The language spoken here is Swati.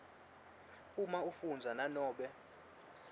uma afundza nanobe